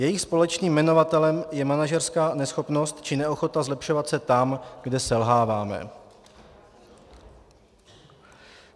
Jejich společným jmenovatelem je manažerská neschopnost či neochota zlepšovat se tam, kde selháváme.